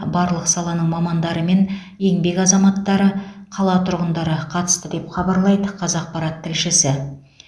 барлық саланың мамандары мен еңбек азаматтары қала тұрғындары қатысты деп хабарлайды қазақпарат тілшісі